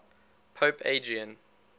pope adrian